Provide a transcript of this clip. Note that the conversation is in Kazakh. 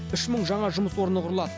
үш мың жаңа жұмыс орны құрылады